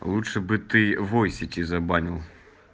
лучше бы ты войсети забанил